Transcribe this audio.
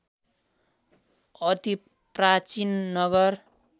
अति प्राचीन नगर